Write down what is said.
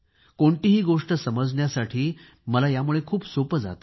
कोणतीही गोष्ट समजण्यासाठी मला खूप सोपे जाते